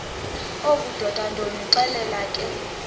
obudoda ndonixelela ke